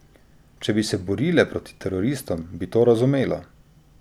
Če bi se borile proti teroristom, bi to razumelo.